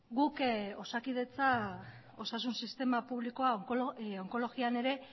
guk osakidetza osasun sistema publikoa onkologian ere